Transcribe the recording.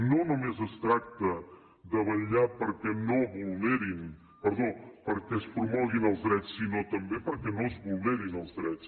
no només es tracta de vetllar perquè es promoguin els drets sinó també perquè no es vulnerin els drets